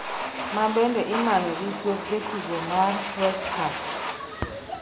mabende imanyo gi kweth jotugo mar west ham